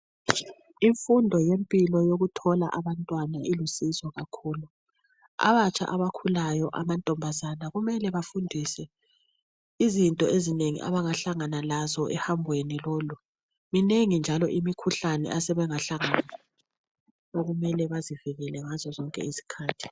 Imfundo yempilo yokuthola abantwana ilusizo kakhulu. Abatsha abakhulayo amantombazana kumele bafundiswe izinto ezinengi abangahlangana lazo ehambweni lolu, minengi njalo imikhuhlane asebengahlangana alo osekumele bazivikele ngazo zonke izikhathi.